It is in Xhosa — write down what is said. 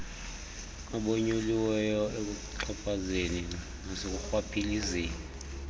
abonyuliweyo ekuxhaphazeni nasekurhwaphilizeni